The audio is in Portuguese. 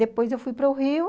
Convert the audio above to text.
Depois eu fui para o Rio.